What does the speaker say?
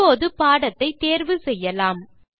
இப்போது பாடத்தை தேர்வு செய்யலாம்